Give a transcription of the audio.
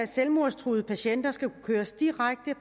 sige